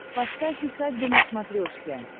поставь усадьба на смотрешке